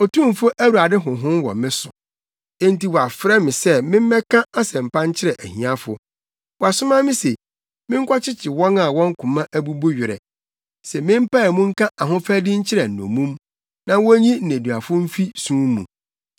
Otumfo Awurade Honhom wɔ me so, efisɛ, wɔafrɛ me sɛ memmɛka asɛmpa nkyerɛ ahiafo. Wasoma me se, menkɔkyekye wɔn a wɔn koma abubu werɛ, se mempae mu nka ahofadi nkyerɛ nnommum na wonyi nneduafo mfi sum mu,